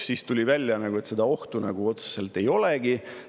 Siis tuli välja, et ohtu nagu otseselt ei olegi.